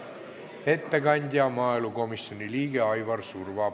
Ettekandja on maaelukomisjoni liige Aivar Surva.